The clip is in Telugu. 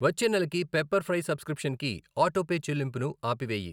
వచ్చే నెలకి పెప్పర్ ఫ్రై సబ్స్క్రిప్షన్కి ఆటోపే చెల్లింపుని ఆపివేయి.